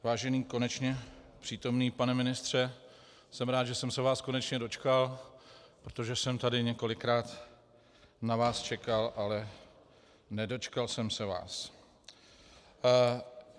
Vážený, konečně přítomný, pane ministře, jsem rád, že jsem se vás konečně dočkal, protože jsem tady několikrát na vás čekal, ale nedočkal jsem se vás.